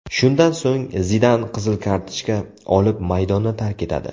Shundan so‘ng, Zidan qizil kartochka olib maydonni tark etadi.